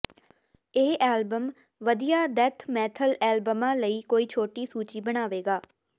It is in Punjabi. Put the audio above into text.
ਇਹ ਐਲਬਮ ਵਧੀਆ ਡੈਥ ਮੈਥਲ ਐਲਬਮਾਂ ਲਈ ਕੋਈ ਛੋਟੀ ਸੂਚੀ ਬਣਾਵੇਗਾ